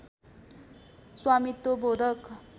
स्वामित्व बोधक